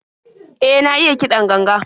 E, na iya kiɗan ganga.